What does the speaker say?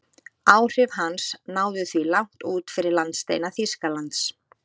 Áhrif hans náðu því langt út fyrir landsteina Þýskalands.